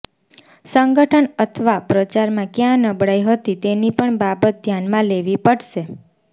સંગઠન અથવા પ્રચારમાં ક્યાં નબળાઈ હતી તેની પણ બાબત ધ્યાનમાં લેવી પડશે